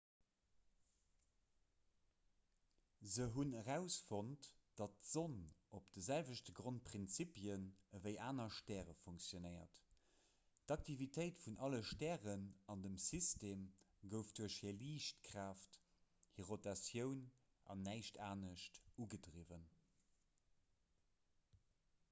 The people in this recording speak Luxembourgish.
se hunn erausfonnt datt d'sonn op de selwechte grondprinzipien ewéi aner stäre funktionéiert d'aktivitéit vun alle stären an dem system gouf duerch hir liichtkraaft hir rotatioun an näischt anescht ugedriwwen